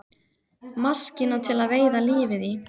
Maskína til að veiða lífið í.